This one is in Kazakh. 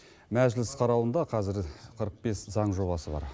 мәжіліс қарауында қазір қырық бес заң жобасы бар